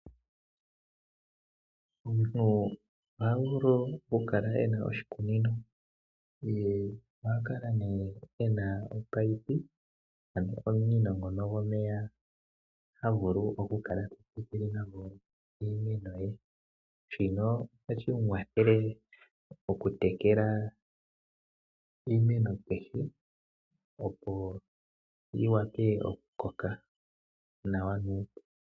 Omuntu oha vulu oku kala e na oshikunino, ye oha vulu nee oku kala e na omunino gwomeya ngono ha vulu okunkala ta tekele nagwo iimeno ye. Shino ohashi munkwathele oku tekela iimeno kehe opo yi wape oku koka nawa nuupu.